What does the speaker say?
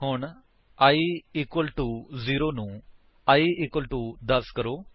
ਹੁਣ i equal to 0 ਨੂੰ i equal to 10 ਕਰੋ